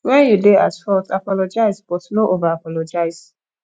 when you dey at fault apologize but no over apologize